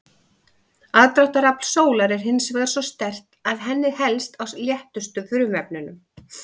Aðdráttarafl sólar er hins vegar svo sterkt að henni helst á léttustu frumefnunum.